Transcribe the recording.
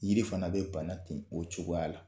Yiri fana bɛ bana ten o cogoya la.